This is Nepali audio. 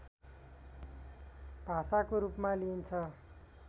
भाषाको रूपमा लिइन्छ